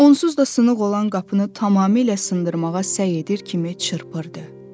Onsuz da sınıq olan qapını tamamilə sındırmağa səy edir kimi çırpırdı.